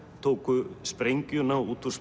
tóku sprengjuna út úr